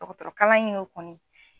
Dɔkɔtɔrɔkalan in y'o kɔni